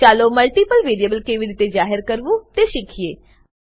ચાલો multiple variable કેવી રીતે જાહેર કરવું તે શીખીએ